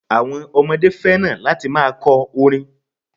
Àwon ọmọdé fẹ́ràn láti ma kọ orin